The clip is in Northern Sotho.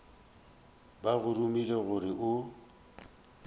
ba go romile gore o